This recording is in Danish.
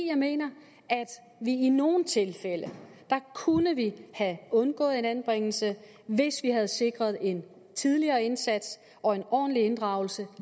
jeg mener at vi i nogle tilfælde kunne have undgået en anbringelse hvis vi havde sikret en tidligere indsats og en ordentlig inddragelse